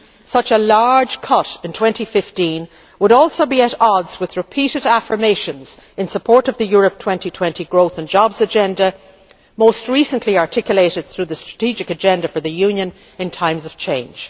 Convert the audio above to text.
Such a large cut in 2015 would, moreover, be at odds with repeated affirmations in support of the Europe 2020 Growth and Jobs Agenda, most recently articulated through the Strategic Agenda for the Union in Times of Change.